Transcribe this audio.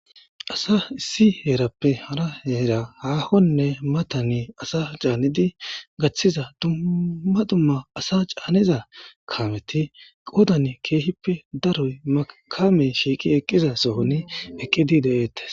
Asa issi heerappe hara heera heera haakonne mata asa gaththiza dumma dumma asa caaniza kaameti qoodan keehippe daro kamey shiiqi eqqizason eqqidi de7eetes.